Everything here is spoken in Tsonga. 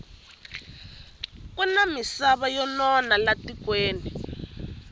kuna misava yo nona la tikweni